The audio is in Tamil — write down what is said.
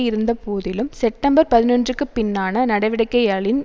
இருந்தபோதிலும் செப்டம்பர் பதினொன்றுற்குப் பின்னான நடவடிக்கையளின்